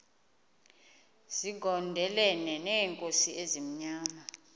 zigondelene neenkosi ezimnyama